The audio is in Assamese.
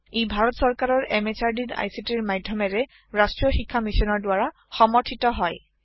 ই ভাৰত সৰকাৰৰ MHRDৰ ICTৰ মাধ্যমেৰে ৰাষ্ট্ৰীয় শীক্ষা Missionৰ দ্ৱাৰা সমৰ্থিত হয়